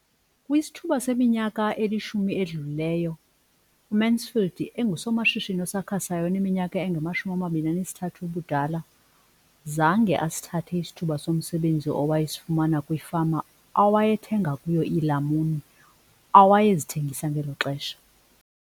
Kwisithuba seminyaka elishumi edlulileyo, uMansfield engusomashishini osakhasayo oneminyaka engama-23 ubudala, zange asithathe isithuba somsebenzi awayesifumana kwifama awayethenga kuyo iilamuni awayezithengisa ngelo xesha.